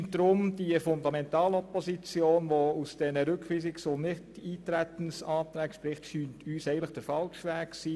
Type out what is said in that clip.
Uns scheint deswegen die Fundamentalopposition, die aus diesen Rückweisungs- und Nichteintretensanträgen entsteht, der falsche Weg zu sein.